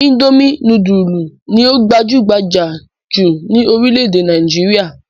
Indomie núdúlù ni ó gbajúgbajà jù ní orílẹ̀-èdè Nàìjíríà.